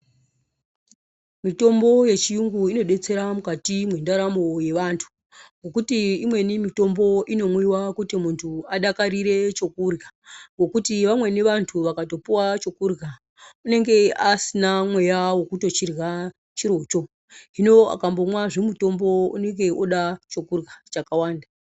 Mitombo yechirungu inodetsera mukati mwendaramo yevantu ngekuti imweni mitombo inomwiwa kuti muntu adakarire chokurya ngokuti vamweni vantu vakapuwa chokurya inenge asina mweya wekurya chiro cho hino akamwa zvimutombo unenge oda chekurya chakawanda.